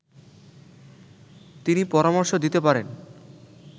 তিনি পরামর্শ দিতে পারেন